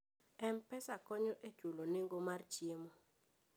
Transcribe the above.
M-Pesa konyo e chulo nengo mar chiemo.